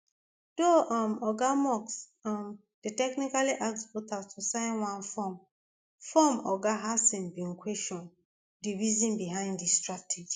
though um oga musk um dey technically ask voters to sign one form form oga hasen bin question di reason behind di strategy